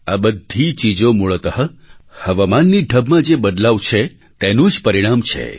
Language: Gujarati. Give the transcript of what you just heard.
આ બધી ચીજો મૂળતઃ હવામાનની ઢબમાં જે બદલાવ છે તેનું જ પરિણામ છે